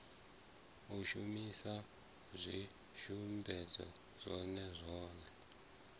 u shumisa zwivhumbeo zwone zwone